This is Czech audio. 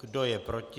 Kdo je proti?